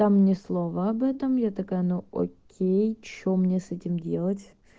там ни слова об этом я такая ну окей что мне с этим делать